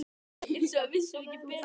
Eins og við vissum ekki betur.